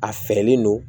A fɛɛrɛlen don